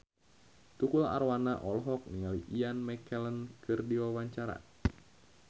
Tukul Arwana olohok ningali Ian McKellen keur diwawancara